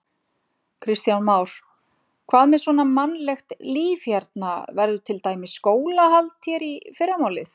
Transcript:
Kristján Már: Hvað með svona mannlegt líf hérna, verður til dæmis skólahald hér í fyrramálið?